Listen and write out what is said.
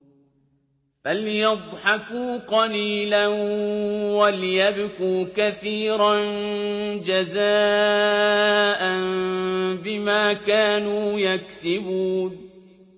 فَلْيَضْحَكُوا قَلِيلًا وَلْيَبْكُوا كَثِيرًا جَزَاءً بِمَا كَانُوا يَكْسِبُونَ